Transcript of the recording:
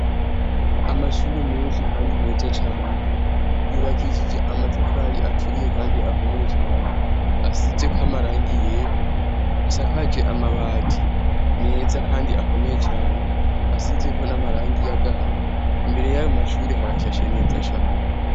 Amashure menshi kandi meza cane yubakishije amatafari aturiye kandi akomeye cane. Asize ko amarangi yera asakaje amabati meza kandi akomeye cane. Asize ko n'amarangi y'agahama imbere y'amashure harashashe neza cane.